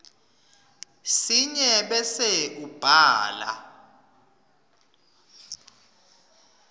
sinye bese ubhala